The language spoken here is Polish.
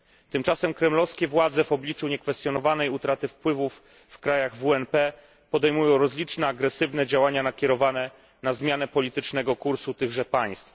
Tymczasem kremlowskie władze, w obliczu niekwestionowanej utraty wpływów w krajach WNP, podejmują rozliczne agresywne działania nakierowane na zmianę politycznego kursu tychże państw.